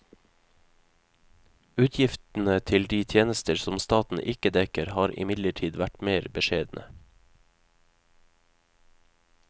Utgiftene til de tjenester som staten ikke dekker, har imidlertid vært mer beskjedne.